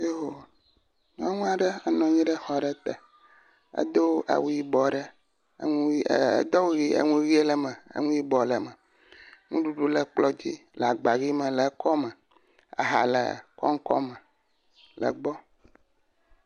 Yoo, nyɔnu aɖe enɔ anyi ɖe exɔ aɖe te, edo awu yibɔa ɖe, eŋu ʋɛ̃, edo awu ʋe, eŋu ʋe, enu yibɔ le me, nuɖuɖu le kplɔ dzi le agba ʋe me le ekɔme, aha le kɔŋkɔ me le gbɔ.